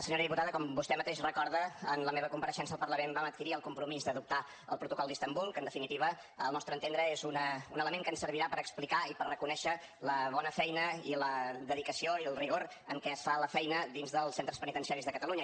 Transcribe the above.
senyora diputada com vostè mateix recorda en la meva compareixença al parlament vam adquirir el compromís d’adoptar el protocol d’istanbul que en definitiva al nostre entendre és un element que ens servirà per explicar i per reconèixer la bona feina i la dedicació i el rigor amb què es fa la feina dins dels centres penitenciaris de catalunya